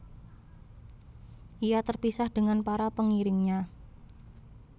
Ia terpisah dengan para pengiringnya